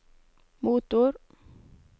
motor